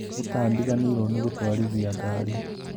Nĩtandiganĩirwo nĩ gũtwarithia ngari